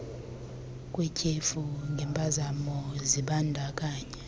kwetyhefu ngempazamo zibandakanya